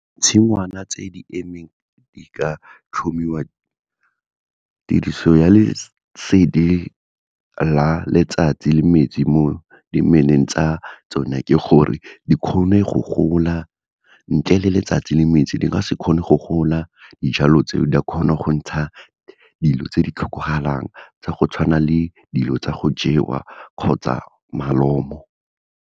Tshingwana tse di emeng di ka tlhomiwa tiriso ya lesedi la letsatsi le metsi mo dimeleng tsa tsone ke gore dikgone go gola, ntle le letsatsi le metsi di ka se kgone go gola dijalo tseo di a kgona go ntsha dilo tse di tlhokagalang tsa go tshwana le dilo tsa go jewa kgotsa malomo.